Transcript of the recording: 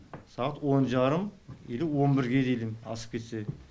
сағат он жарым или он бірге дейін асып кетсе